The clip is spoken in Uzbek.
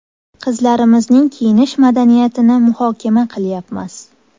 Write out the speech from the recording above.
Qizlarimizning kiyinish madaniyatini muhokama qilyapmiz.